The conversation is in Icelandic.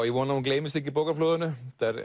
ég vona að hún gleymist ekki í bókaflóðinu